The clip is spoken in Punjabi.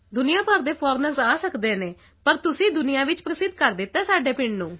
ਦੁਨੀਆ ਭਰ ਦੇ ਫੋਰਨਰਸ ਆ ਸਕਦੇ ਹਨ ਪਰ ਤੁਸੀਂ ਦੁਨੀਆ ਵਿੱਚ ਪ੍ਰਸਿੱਧ ਕਰ ਦਿੱਤਾ ਹੈ ਸਾਡੇ ਪਿੰਡ ਨੂੰ